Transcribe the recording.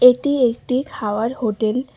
এটি একটি খাওয়ার হোটেল ।